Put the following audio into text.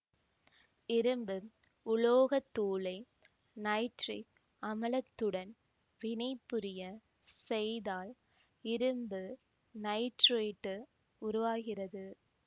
இரும்பு உலோகத்தூளை நைட்ரிக் அமலத்துடன் வினைபுரிய செய்தால் இரும்பு நைட்ரேட்டு உருவாகிறது